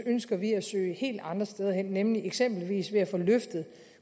ønsker vi at søge helt andre steder hen nemlig eksempelvis ved at få løftet